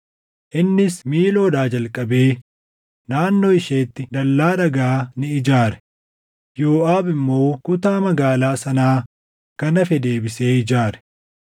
Innis Miiloodhaa jalqabee naannoo isheetti dallaa dhagaa ni ijaare; Yooʼaab immoo kutaa Magaalaa sanaa kan hafe deebisee ijaare.